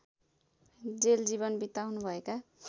jail जीवन बिताउनु भएका